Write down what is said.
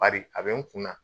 Bari a bɛ n kun na